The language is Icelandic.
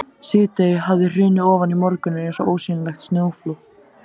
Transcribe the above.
Síðdegið hafði hrunið ofan í morguninn eins og ósýnilegt snjóflóð.